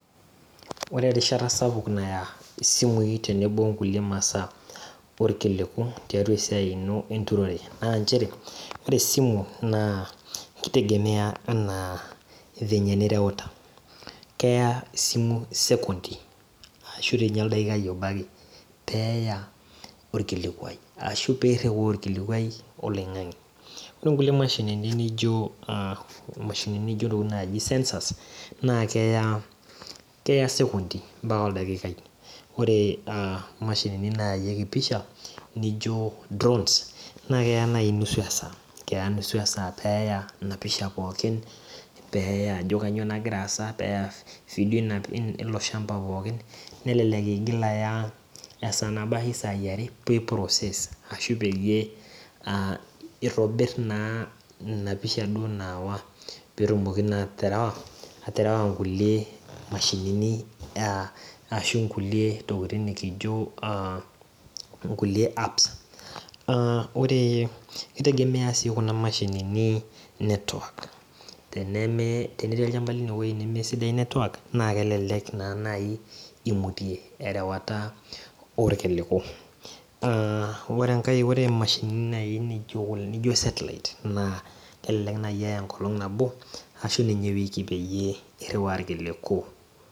Ore erishata sapuk naya simui tenebo onkulie masaa orkilu tiatua esiai ino enturore na ore esimu na kitegemea ana vile nireuta keya esimu sekondi arashu oldakai obo ake peya orkilikuai arashu peiriwaa orkilikuai oloingangi ore nkulie mashinini nijo ntokitin naji sensors na keya sekondi ambaka oldaikaiore imashinini naayieki pisha nijo drawns na keya nai nusu esaa peya enapisha pooki ajo kanyio nagira aasa ilo shamba pookin nelelek igil aya esaa nabo ashu sai are pi process arashu peyie itobir inapisha nayawa petumoki aterewa nkulie mashinini ashu nkulie tokitin nikijo a nkulie apps aa ore kitegemea si kuna kulie mashinini network teneti ewoi nemesida network na kelelek naa nai imutie erewata orkiliku ore enkae ore mashinini nijo satelite kelelek nai eya enkolong nabo ashu ewiki peyie iriwaa irkiliku.